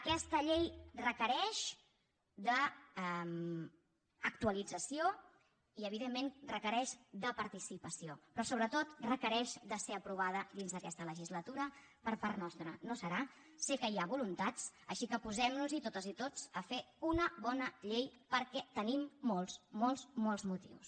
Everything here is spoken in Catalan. aquesta llei requereix d’actualització i evidentment requereix de participació però sobretot requereix ser aprovada dins d’aquesta legislatura per part nostra no serà sé que hi ha voluntats així que posem noshi totes i tots a fer una bona llei perquè tenim molts molts molts motius